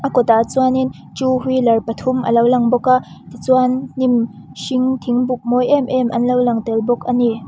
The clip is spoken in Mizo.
a kawtah chuanin two wheeler pathum alo lang bawka tichuan hnim hring thingbuk mawi em em an lo lang tel bawk ani.